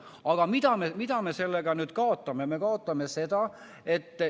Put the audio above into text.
Aga mida me sellega kaotame?